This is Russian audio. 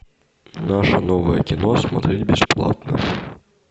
наше новое кино смотреть бесплатно